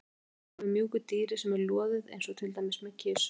Að kúra með mjúku dýri sem er loðið eins og til dæmis með kisu.